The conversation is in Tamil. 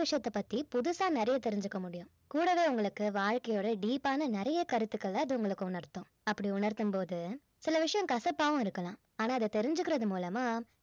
விஷயத்தைப் பற்றி புதுசா நிறைய தெரிஞ்சுக்க முடியும் கூடவே உங்களுக்கு வாழ்க்கையையோட deep ஆன நிறைய கருத்துக்களை அது உங்களுக்கு உணர்த்தும் அப்படி உணர்த்தும் போது சில விஷயம் கசப்பாவும் இருக்கலாம் ஆனா இத தெரிஞ்சிக்கிறது மூலமா